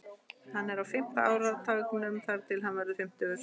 Hann er á fimmta áratugnum þar til hann verður fimmtugur.